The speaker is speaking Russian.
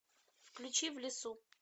включи в лесу